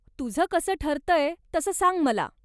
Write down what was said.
तुझं कसं ठरतंय तसं सांग मला.